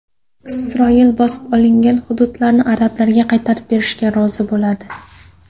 Isroil bosib olingan hududlarni arablarga qaytarib berishga rozi bo‘ladi.